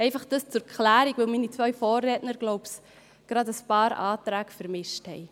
Dies zur Klärung, weil meine zwei Vorredner wohl ein paar Anträge vermischt haben.